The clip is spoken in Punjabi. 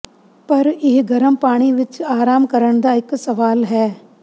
ਪਰ ਇਹ ਗਰਮ ਪਾਣੀ ਵਿਚ ਆਰਾਮ ਕਰਨ ਦਾ ਇਕ ਸਵਾਲ ਹੈ